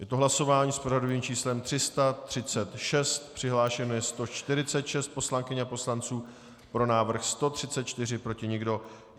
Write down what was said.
Je to hlasování s pořadovým číslem 336, přihlášeno je 146 poslankyň a poslanců, pro návrh 134, proti nikdo.